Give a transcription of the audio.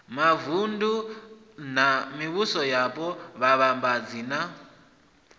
mavunḓu na mivhusoyapo vhuvhambadzi na